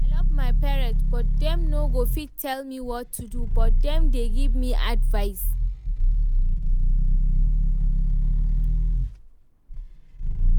I love my parents but dem no go fit tell me what to do, but dem dey give me advice